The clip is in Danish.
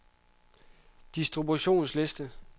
distributionsliste